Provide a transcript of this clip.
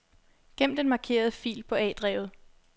Gem den markerede fil på A-drevet.